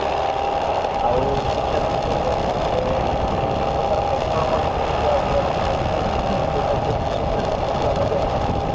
ଆଉ ଶିକ୍ଷାଦାନ କରିବା ସମୟରେ ଆମେ ବିଭିନ୍ନ ପ୍ରକାର method ମଧ୍ୟ ସେଥିରେ ଅବଲମ୍ବନ କରିଥାଉ ଯୋଉଟା କି ଆମେ ସବୁ training ନେଇକି already ଆସିଛୁ